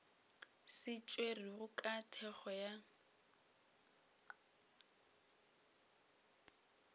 se tšerwego ka thekgo ya